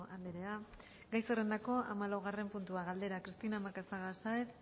andrea gai zerrendako hamalaugarren puntua galdera cristina macazaga sáenz